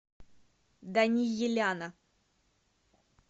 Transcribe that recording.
даниеляна